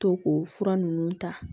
To k'o fura ninnu ta